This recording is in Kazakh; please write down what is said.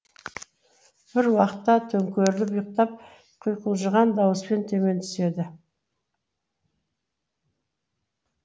бір уақытта төңкеріліп ұйтқып құйқылжыған дауыспен төмен түседі